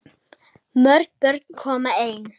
Mörg börn koma ein.